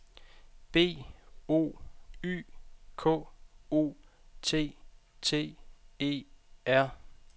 B O Y K O T T E R